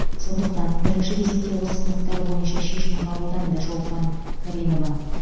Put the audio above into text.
сондықтан бірінші кезекте осы сыныптар бойынша шешім қабылданды шолпан каринова